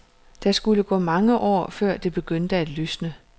Der skulle gå mange år, før det begyndte at lysne.